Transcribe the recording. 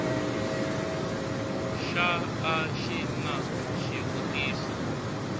xa a xi na xivutiso